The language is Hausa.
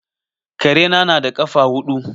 Karena na da ƙafa huɗu.